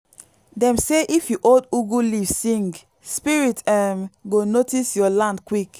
dem say if you hold ugu leaf sing spirits um go notice your land quick.